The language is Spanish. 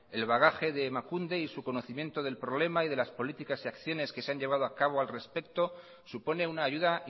el bagaje de emakunde y su conocimiento del problema y de las políticas y acciones que se han llevado a cabo al respecto supone una ayuda